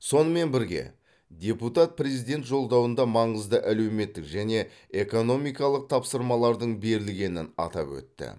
сонымен бірге депутат президент жолдауында маңызды әлеуметтік және экономикалық тапсырмалардың берілгенін атап өтті